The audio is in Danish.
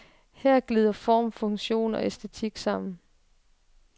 Her glider form, funktion og æstetik sammen.